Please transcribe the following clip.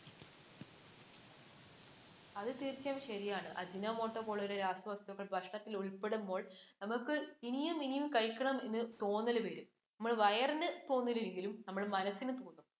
അത് തീർച്ചയായും ശരിയാണ്. ajinomotto പോലെയുള്ള രാസ വസ്തുക്കൾ ഭക്ഷണത്തിൽ ഉൾപ്പെടുമ്പോൾ നമ്മൾക്ക് ഇനിയും ഇനിയും കഴിക്കണമെന്ന് തോന്നല് വരും. നമ്മടെ വയറിന് തോന്നിയില്ലെങ്കിലും നമ്മടെ മനസിന് തോന്നും.